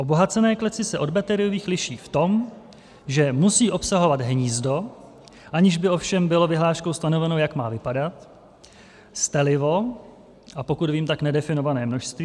Obohacené klece se od bateriových liší v tom, že musí obsahovat hnízdo, aniž by ovšem bylo vyhláškou stanoveno, jak má vypadat, stelivo, a pokud vím, tak nedefinované množství.